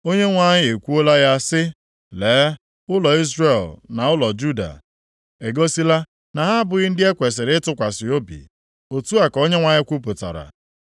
Onyenwe anyị ekwuola ya sị, Lee, ụlọ Izrel na ụlọ Juda egosila na ha abụghị ndị e kwesiri ịtụkwasị obi.” Otu a ka Onyenwe anyị kwupụtara.